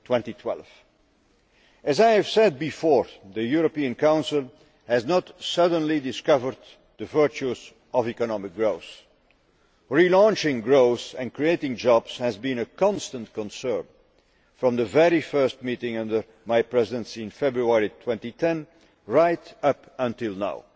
2012. As I have said before, the European Council has not suddenly discovered the virtues of economic growth. Relaunching growth and creating jobs has been a constant concern, from the very first meeting under my Presidency in February 2010 right up until now.